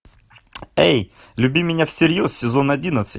эй люби меня всерьез сезон одиннадцать